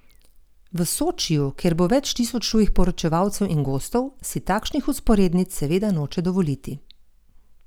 V Sočiju, kjer bo več tisoč tujih poročevalcev in gostov, si takšnih vzporednic seveda noče dovoliti.